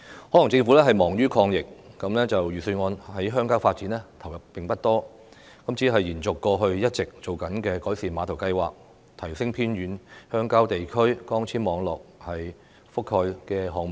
可能政府忙於抗疫，預算案對鄉郊發展的投入並不多，只是延續過去一直推行的改善碼頭計劃、提升偏遠鄉郊地區光纖網絡覆蓋的項目。